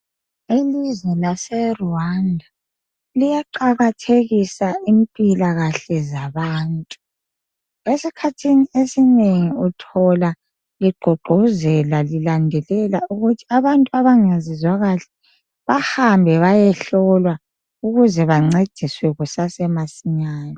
Ilizwe lase Rwanda liyaqakathekisa impilakahle zabantu. Esikhathini esinengi uthola begqugquzela lilandelela ukuthi abantu abangazizwa kahle bahambe bayehlolwa ukuze bancediswe kusase masinyane.